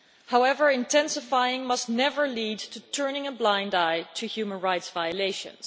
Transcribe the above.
However, intensifying our engagement must never lead to turning a blind eye to human rights violations.